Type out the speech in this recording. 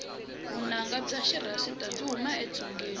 vunanga bya xirhasita byi huma etsungeni